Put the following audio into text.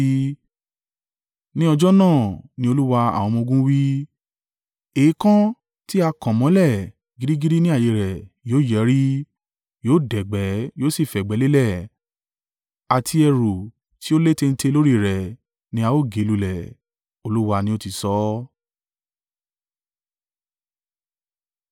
“Ní ọjọ́ náà,” ni Olúwa àwọn ọmọ-ogun wí, “Èèkàn tí a kàn mọ́lẹ̀ gírígírí ní ààyè e rẹ̀ yóò yẹrí, yóò dẹ̀gbẹ́ yóò sì fẹ̀gbẹ́ lélẹ̀ àti ẹrù tí ó létéńté lórí i rẹ̀ ni a ó gé lulẹ̀.” Olúwa ni ó ti sọ ọ́.